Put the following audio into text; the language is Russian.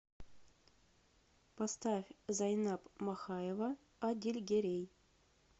поставь зайнаб махаева адильгерей